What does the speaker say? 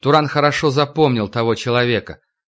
туран хорошо запомнил того человека